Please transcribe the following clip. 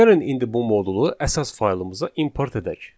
Gəlin indi bu modulu əsas faylımıza import edək.